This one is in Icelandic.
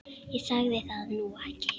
Ég sagði það nú ekki.